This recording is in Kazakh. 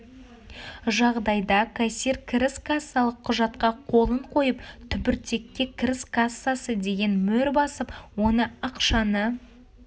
жағдайда кассир кіріс кассалық құжатқа қолын қойып түбіртекке кіріс кассасы деген мөр басып оны ақшаны